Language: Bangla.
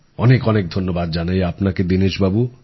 অনেক অনেক ধন্যবাদ জানাই আপনাকে দীনেশবাবু